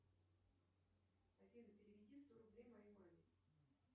афина переведи сто рублей моей маме